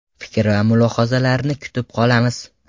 Fikr va mulohazalarni kutib qolamiz.